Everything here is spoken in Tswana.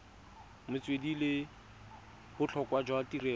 metswedi le botlhokwa jwa tirelo